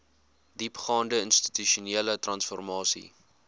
diepgaande institusionele transformasie